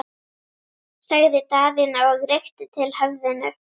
sagði Daðína og rykkti til höfðinu.